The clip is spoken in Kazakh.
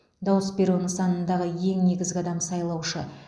дауыс беру нысанындағы ең негізгі адам сайлаушы